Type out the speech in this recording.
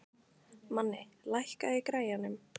Manni, lækkaðu í græjunum.